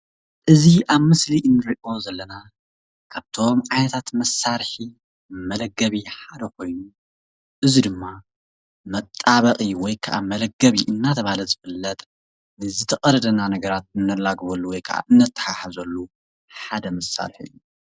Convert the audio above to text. እዚ ኣብ ምስሊ እንሪኦ ዘለና ካብቶም ዓይነታት መሳርሒ መለገቢ ሓደ ኾይኑ እዚ ድማ መጣበቒ ወይ ከዓ መለገቢ እናተባህለ ዝፍለጥ ንዝተቐደደና ነገራት እነላግበሉ ወይ ከዓ እነተሓሕዘሉ ሓደ መሳርሒ እዩ፡፡